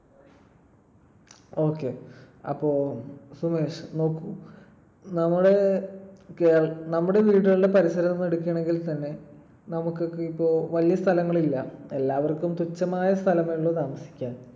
Okay. അപ്പൊ സുമേഷ് നോക്കൂ. നമ്മുടെ കേര ~ നമ്മുടെ വീടുകളുടെ പരിസരം എടുക്കുവാണെങ്കിൽ തന്നെ നമുക്കൊക്കെ ഇപ്പൊ വലിയ സ്ഥലങ്ങളില്ല. എല്ലാവർക്കും തുച്ഛമായ സ്ഥലമേയുള്ളു താമസിക്കാൻ